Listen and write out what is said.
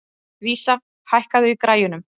Vísa, hækkaðu í græjunum.